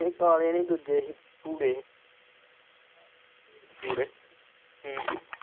ਨਹੀਂ ਕਾਲੇ ਨਹੀਂ ਦੂਜੇ ਹੀ ਭੂਰੇ ਹੀ ਹਮ